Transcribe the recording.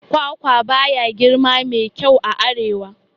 Kwakwa baya girma mai kyau a arewa